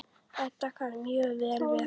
Edda kann mjög vel við hann.